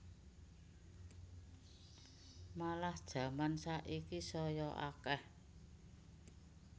Malah jaman saiki saya akeh